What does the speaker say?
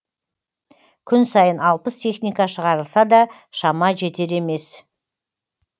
күн сайын алпыс техника шығарылса да шама жетер емес